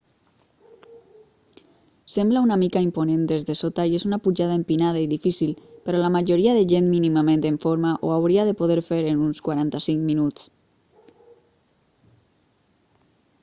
sembla una mica imponent des de sota i és una pujada empinada i difícil però la majoria de gent mínimament en forma ho hauria de poder fer en uns 45 minuts